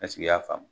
Ɛseke i y'a faamu